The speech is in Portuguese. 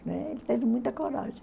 ele teve muita coragem.